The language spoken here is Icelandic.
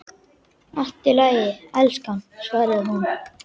Allt í lagi, elskan, svaraði hún.